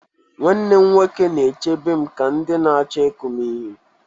Nwanne m nwoke na-echebe m ka ndị na-achọ ịkụ m ihe.